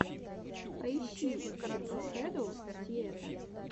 поищи верба шэдоу сиэтэ